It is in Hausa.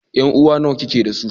Yanuwa nawa kike da su?